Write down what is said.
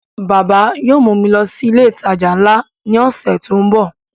Bàbá yóò mú mi lọ sí ilé ìtajà nla ní ọ̀sẹ̀ tó ń bọ̀